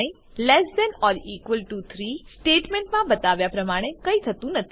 I less than or equal to 3 સ્ટેટમેન્ટમાં બતાવ્યા પ્રમાણે કઈ થતું નથી